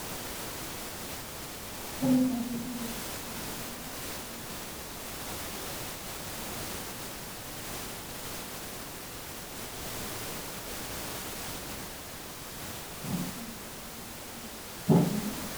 Hoolaan dhaabbachaa jirti. Gamana garagaltee jirti. Lafa irra marga magariisa ta'etu jira. Gaafni hoolaa lachuu ni mul'ata. Akkasumas, gurri ishee lachuu kan mul'atuudha. Eegen hoolaa gamas garagalee kan jiruu fi sirritti kan hin mul'anneedha.